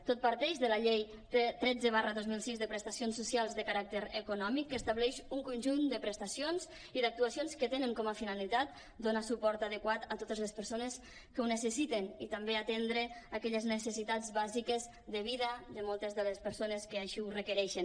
tot parteix de la llei tretze dos mil sis de prestacions socials de caràcter econòmic que estableix un conjunt de prestacions i d’actuacions que tenen com a finalitat do·nar suport adequat a totes les persones que ho necessiten i també atendre aquelles necessitats bàsiques de vida de moltes de les persones que així ho requereixen